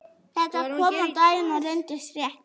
Þetta kom á daginn og reyndist rétt.